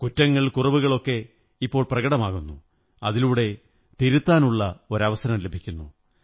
കുറ്റങ്ങൾ കുറവുകൾ ഒക്കെ ഇപ്പോൾ പ്രകടമാകുന്നു അതിലൂടെ തിരുത്താനുള്ള അവസരം ലഭിക്കുന്നു